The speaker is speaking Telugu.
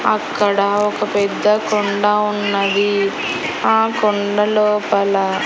అక్కడ ఒక పెద్ద కొండ ఉన్నది ఆ కొండ లోపల.